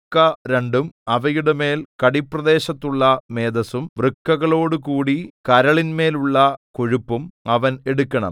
വൃക്ക രണ്ടും അവയുടെമേൽ കടിപ്രദേശത്തുള്ള മേദസ്സും വൃക്കകളോടുകൂടി കരളിന്മേലുള്ള കൊഴുപ്പും അവൻ എടുക്കണം